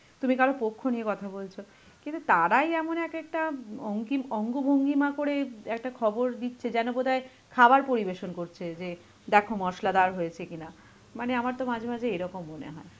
তুমি কারোর পক্ষ নিয়ে কথা বলছো, কিন্তু তারাই এমন এক একটা উম অঙ্কিম~ অঙ্গ ভঙ্গিমা করে একটা খবর দিচ্ছে যেন বোধহয় খাবার পরিবেশন করছে যে দেখ মসলাদার হয়েছে কিনা. মানে আমার তো মাঝে মাঝে এরকম মনে হয়.